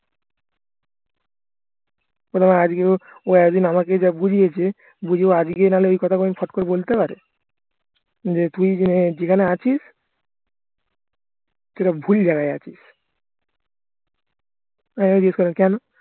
আজকে ও এতদিন আমাকে যা বুঝিয়েছে বুঝিয়ে ও আজকে নাহলে এই কথাগুলো ছট করে বলতে পারে যে তুই যেখানে আছিস তুই একটা ভুল জায়গায় আছিস আমি আবার জিজ্ঞেস করলাম কেন